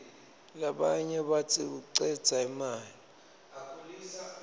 labanye batsi kucedza imali